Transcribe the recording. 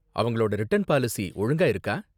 அவங்களோட return policy ஒழுங்கா இருக்கா?